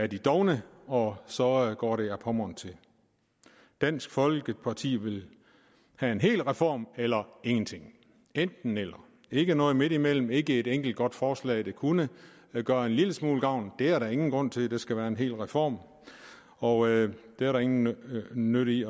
de dovne og så går det ad pommern til dansk folkeparti vil have en hel reform eller ingenting enten eller ikke noget midtimellem ikke et enkelt godt forslag der kunne gøre en lille smule gavn det er der ingen grund til det skal være en hel reform og det er der ingen nytte i